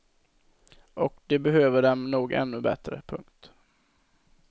Och de behöver dem nog ännu bättre. punkt